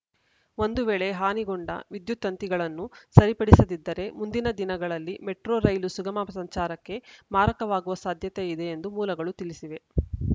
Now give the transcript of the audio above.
ಒಂದು ವೇಳೆ ಹಾನಿಗೊಂಡ ವಿದ್ಯುತ್‌ ತಂತಿಗಳನ್ನು ಸರಿಪಡಿಸದಿದ್ದರೆ ಮುಂದಿನ ದಿನಗಳಲ್ಲಿ ಮೆಟ್ರೊ ರೈಲು ಸುಗಮ ಸಂಚಾರಕ್ಕೆ ಮಾರಕವಾಗುವ ಸಾಧ್ಯತೆ ಇದೆ ಎಂದು ಮೂಲಗಳು ತಿಳಿಸಿವೆ